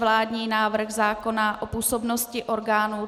Vládní návrh zákona o působnosti orgánů